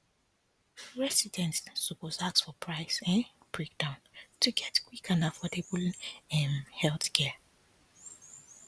residents suppose ask for price um breakdown to get quick and affordable um healthcare